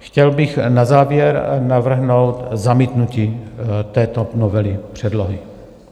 Chtěl bych na závěr navrhnout zamítnutí této novely předlohy.